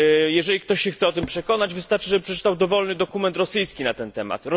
Jeżeli ktoś się chce o tym przekonać, wystarczy, żeby przeczytał dowolny dokument rosyjski na ten temat.